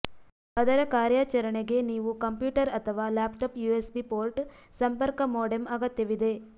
ಅದರ ಕಾರ್ಯಾಚರಣೆಗೆ ನೀವು ಕಂಪ್ಯೂಟರ್ ಅಥವಾ ಲ್ಯಾಪ್ಟಾಪ್ ಯುಎಸ್ಬಿ ಪೋರ್ಟ್ ಸಂಪರ್ಕ ಮೋಡೆಮ್ ಅಗತ್ಯವಿದೆ